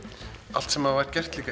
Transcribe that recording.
allt sem var gert